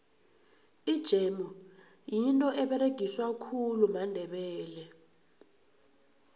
ijemu yinto eberegiswa khulu mandebele